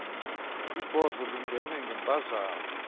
ibhozo lingene ngemphazamo